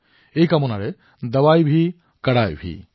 এই কামনাৰ সৈতে মই পুনৰ সোঁৱৰণ কৰাই দিও ঔষধোকঠোৰতাও